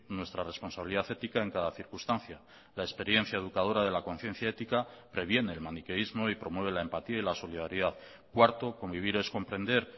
nuestra responsabilidad ética en cada circunstancia la experiencia educadora de la conciencia ética previene el maniqueísmo y promueve la empatía y la solidaridad cuarto convivir es comprender